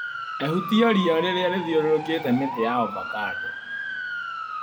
Ehutia ria rĩrĩa rĩthiũrũrũkĩte mĩtĩ ya ovacando.